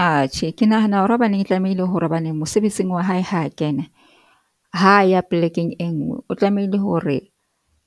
Atjhe ke nahana hore hobaneng e tlamehile hore hobane mosebetsing wa hae ha kene. Ha ya polekeng e nngwe, o tlamehile hore